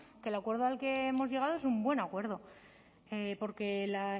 que el acuerdo al que hemos llegado es un buen acuerdo porque la